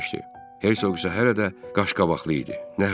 Hersoq isə hələ də qaşqabaqlı idi.